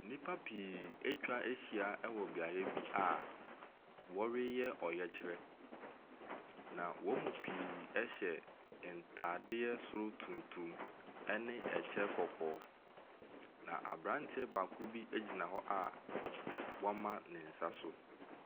Nnipa pii atwa ahyia beae bi a wɔreyɛ ɔyɛkyerɛ. Na wɔn mu pii hyɛ ntaadeɛ soro tuntum ne ɛkyɛ kɔkɔɔ. Na abranteɛ baako bi egyina hɔ a wɔama ne nsa so.